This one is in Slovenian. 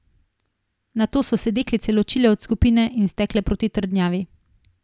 Nato so se deklice ločile od skupine in stekle proti trdnjavi.